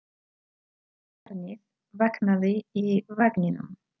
Barnið vaknaði í vagninum.